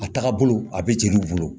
A tagabolo a bɛ jeliw bolo